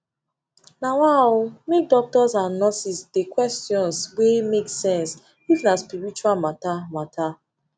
um make doctors and nurses dey questions wey make sense if na spirtual matter matter